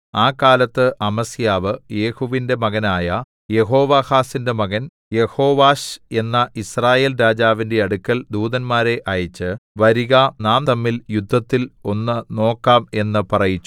ആ കാലത്ത് അമസ്യാവ് യേഹൂവിന്റെ മകനായ യെഹോവാഹാസിന്റെ മകൻ യെഹോവാശ് എന്ന യിസ്രായേൽ രാജാവിന്റെ അടുക്കൽ ദൂതന്മാരെ അയച്ച് വരിക നാം തമ്മിൽ യുദ്ധത്തിൽ ഒന്ന് നോക്കാം എന്ന് പറയിച്ചു